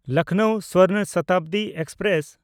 Lucknow Swarna Shatabdi express